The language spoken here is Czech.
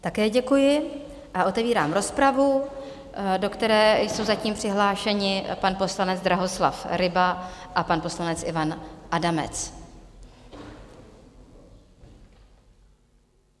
Také děkuji a otevírám rozpravu, do které jsou zatím přihlášeni pan poslanec Drahoslav Ryba a pan poslanec Ivan Adamec.